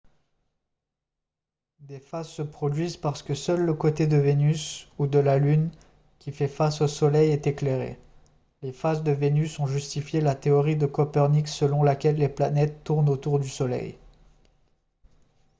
des phases se produisent parce que seul le côté de vénus ou de la lune qui fait face au soleil est éclairé. les phases de vénus ont justifié la théorie de copernic selon laquelle les planètes tournent autour du soleil